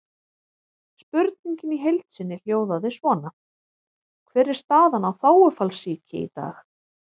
Spurningin í heild sinni hljóðaði svona: Hver er staðan á þágufallssýki í dag?